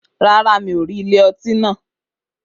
Rárá, mi ò rí ilé ọtí náà